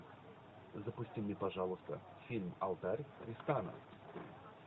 запусти мне пожалуйста фильм алтарь тристана